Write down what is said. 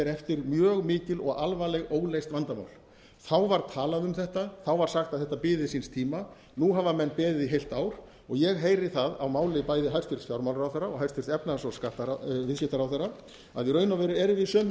eftir mjög mikil og alvarleg óleyst vandamál það var talað um þetta það var talað um að þetta biði síns tíma nú hafa menn beðið í heilt ár og ég heyri það á máli bæði hæstvirtan fjármálaráðherra og hæstvirtur efnahags og viðskiptaráðherra að í raun og veru erum